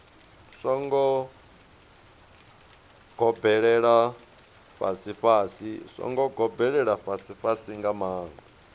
songo gobelela fhasifhasi nga maanḓa